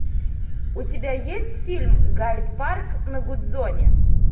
у тебя есть фильм гайд парк на гудзоне